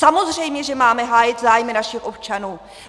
Samozřejmě že máme hájit zájmy našich občanů!